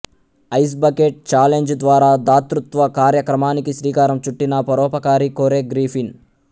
ice bucket challenge ద్వారా దాతృత్వ కార్యక్రమానికి శ్రీకారం చుట్టిన పరోపకారి కోరె గ్రిఫిన్